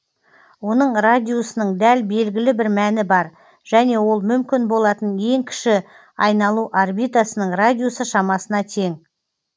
оның радиусының дәл белгілі бір мәні бар және ол мүмкін болатын ең кіші айналу орбитасының радиусы шамасына тең